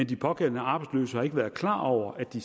de pågældende arbejdsløse ikke har været klar over at de